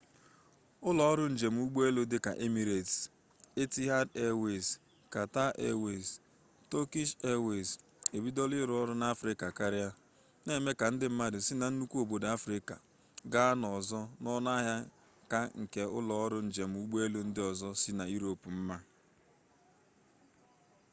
ụlọ ọrụ njem ụgbọelu dịka emirets etihad eewez katar eewez tọkish eewez ebidola ịrụ ọrụ n'afrịka karịa na-eme ka ndị mmadụ si na nnukwu obodo afrịka gaa n'ọzọ n'ọnụ ahịa ka nke ụlọ ọrụ njem ụgbọelu ndị ọzọ si yurop mma